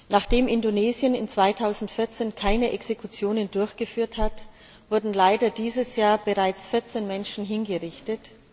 Nachdem Indonesien 2014 keine Exekutionen durchgeführt hat, wurden leider dieses Jahr bereits 14 Menschen hingerichtet.